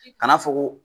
Kana fɔ ko